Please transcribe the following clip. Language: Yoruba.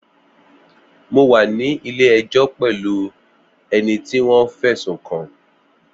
Mo wà ní ilé ẹjọ́ pẹ̀lú ẹni tí wọ́n fẹ̀sùn kàn